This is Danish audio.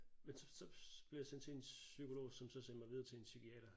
Men så så blev jeg sendt til en psykolog som så sendte jeg videre til en psykiater